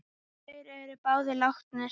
Þær eru báðar látnar.